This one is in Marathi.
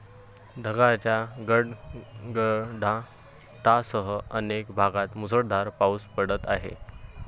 ढगांच्या गडगडाटासह अनेक भागात मुसळधार पाऊस पडत आहे.